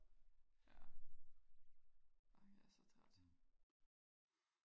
ja ej jeg er så træt